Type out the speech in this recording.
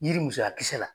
Yiri musoya kisɛ la